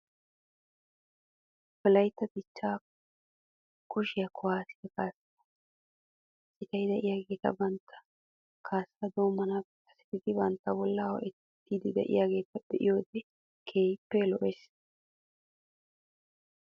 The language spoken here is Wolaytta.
Wolaytta dichcha kushiyaa kuwaasiyaa kaassaa citay de'iyaageeti bantta kaassaa doommanaappe kasetidi bantta bollaa ho'ettiddi de'iyaageeta be'iyood wode keehippe lo'oosona .